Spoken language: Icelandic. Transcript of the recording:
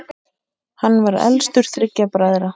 Hann var elstur þriggja bræðra.